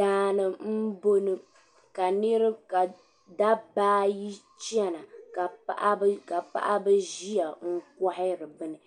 Daa ni m-bɔŋɔ ka dabba ayi chana ka paɣiba ʒia n-kɔhiri bini